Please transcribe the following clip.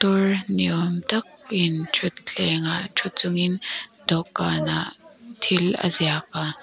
par ni awm takin thuthleng ah thu chungin dawhkanah thil a ziak a.